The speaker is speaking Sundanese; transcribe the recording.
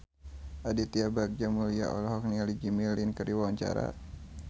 Aditya Bagja Mulyana olohok ningali Jimmy Lin keur diwawancara